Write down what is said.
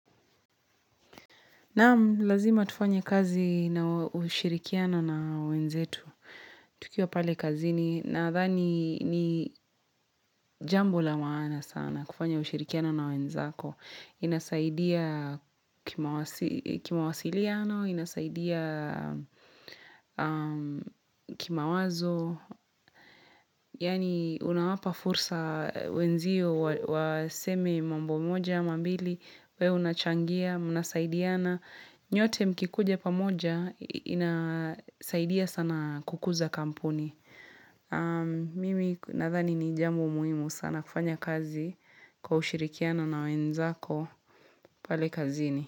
Naam, lazima tufanye kazi na ushirikiano na wenzetu. Tukiwa pale kazini nadhani ni jambo la maana sana kufanya ushirikiano na wenzako. Inasaidia kima wasi kimawasiliano, inasaidia kima wazo. Yani unawapa fursa wenzio waseme mambo moja, ama mbili, we unachangia, mnasaidiana. Nyote mkikuja pamoja inasaidia sana kukuza kampuni. Mimi nathani ni jambo muhimu sana kufanya kazi kwa ushirikiano na wenzako pale kazini.